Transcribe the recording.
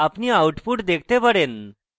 আপনি output দেখতে পারেন